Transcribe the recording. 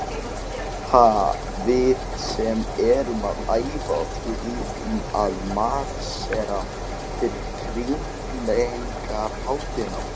Ha, við sem erum að æfa okkur í að marsera fyrir krýningarhátíðina.